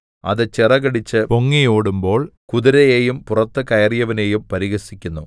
അത് ചിറകടിച്ച് പൊങ്ങി ഓടുമ്പോൾ കുതിരയെയും പുറത്ത് കയറിയവനെയും പരിഹസിക്കുന്നു